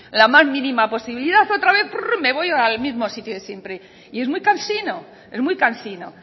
la más mínima posibilidad otra vez me voy al mismo sitio de siempre y es muy cansino es muy cansino